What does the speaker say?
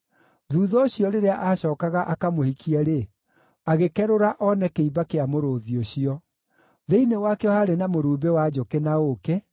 Thuutha ũcio, rĩrĩa aacookaga akamũhikie-rĩ, agĩkerũra oone kĩimba kĩa mũrũũthi ũcio. Thĩinĩ wakĩo haarĩ na mũrumbĩ wa njũkĩ na ũũkĩ,